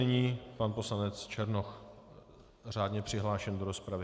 Nyní pan poslanec Černoch, řádně přihlášený do rozpravy.